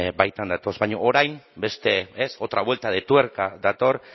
baitan datoz baina orain beste otra vuelta de tuerca dator